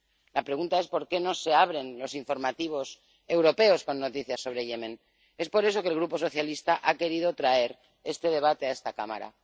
La pregunta es por qué no se abren los informativos europeos con noticias sobre Yemen. Es por eso por lo que el Grupo socialista ha querido traer este debate a esta Cámara.